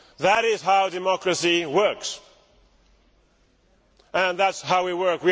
That is how democracy works, and that is how we work.